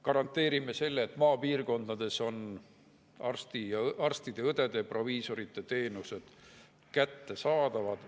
Garanteerime, et maapiirkondades on arstide, õdede ja proviisorite teenused kättesaadavad.